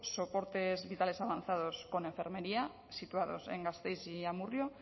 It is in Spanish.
soportes vitales avanzados con enfermería situados en gasteiz y amurrio